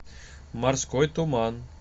морской туман